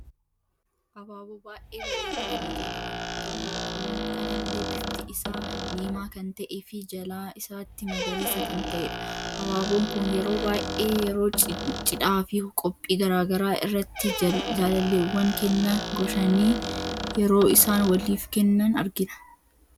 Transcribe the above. Abaaboo baay'ee bareedu fi ija namatti tolu, akkuma kanallee bifti isa diima kan ta'ee fi jalaa isaatti magariisa kan ta'edha. Abaaboon kun yeroo baay'ee ,yeroo cidhaa fi qophii garaagaraa irratti jaalalleewwan kenna goshani yeroo isaan waliif kennan argina.